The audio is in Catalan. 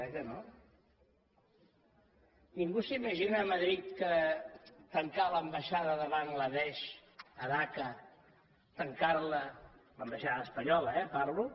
eh que no ningú s’imagina a madrid tancar l’ambaixada de bangla desh a dacca tancar la de l’ambaixada espanyola eh parlo